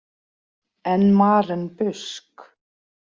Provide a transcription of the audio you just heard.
En Maren Busk?